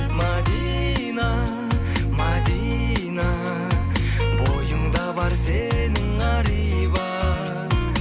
мәдина мәдина бойыңда бар сенің ар иба